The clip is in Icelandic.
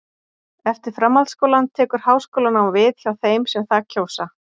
Eftir framhaldsskólann tekur háskólanám við hjá þeim sem það kjósa.